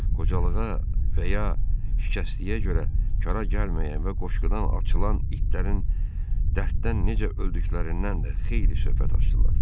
Qocalığa və ya şikəstliyə görə kara gəlməyən və qoşqudan açılan itlərin dərddən necə öldüklərindən də xeyli söhbət açdılar.